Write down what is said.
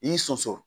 I sɔsɔ